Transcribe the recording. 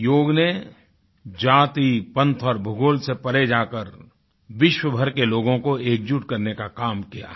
योग ने जाति पंथ और भूगोल से परे जाकर विश्व भर के लोगों को एकजुट होकर करने का काम किया है